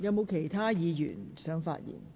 是否有其他議員想發言？